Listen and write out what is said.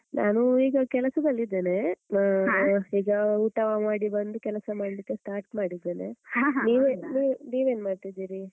ನಾನು ಈಗ ಕೆಲಸದಲ್ಲಿದೇನೆ ಆಹ್ ಈಗ ಊಟ ಮಾಡಿ ಬಂದು ಕೆಲಸ ಮಾಡ್ಲಿಕ್ಕೆ start ಮಾಡಿದ್ದೇನೆ ನೀವ್ ನೀವ್ ನೀವ್ ಏನ್ ಮಾಡ್ತಿದೀರಿ?